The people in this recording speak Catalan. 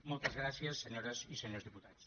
moltes gràcies senyores i senyors diputats